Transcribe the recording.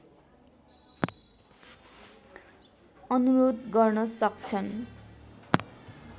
अनुरोध गर्न सक्छन्